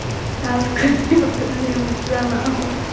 Af hverju horfði hún svona á hann?